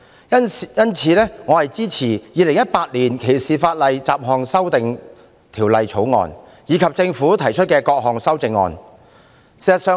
因此，我支持《2018年歧視法例條例草案》及政府提出的各項修正案。